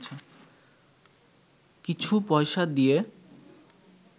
কিছু পয়সা দিয়ে